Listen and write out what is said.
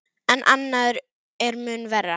En annað er mun verra.